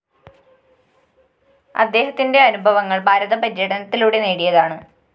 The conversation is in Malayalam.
അദ്ദേഹത്തിന്റെ അനുഭവങ്ങള്‍ ഭാരത പര്യടനത്തിലൂടെ നേടിയതാണ്